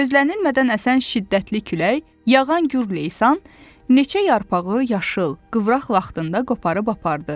Gözlənilmədən əsən şiddətli külək, yağan Gür lesan neçə yarpağı yaşıl, qıvraq vaxtında qoparıb apardı.